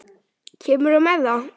Kemurðu með það!